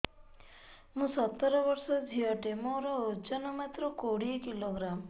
ମୁଁ ସତର ବର୍ଷ ଝିଅ ଟେ ମୋର ଓଜନ ମାତ୍ର କୋଡ଼ିଏ କିଲୋଗ୍ରାମ